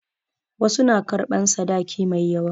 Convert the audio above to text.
Wasu na karɓan sadaki mai yawa.